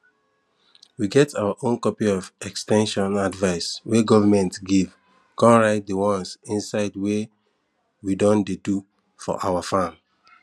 we get our own copy of ex ten sion advice wey government give con write di ones inside wey we don dey do for our farm